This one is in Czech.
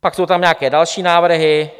Pak jsou tam nějaké další návrhy.